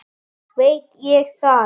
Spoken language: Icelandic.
veit ég það?